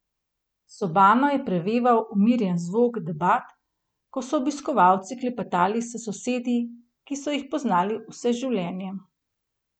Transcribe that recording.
Sobano je preveval umirjen zvok debat, ko so obiskovalci klepetali s sosedi, ki so jih poznali vse življenje.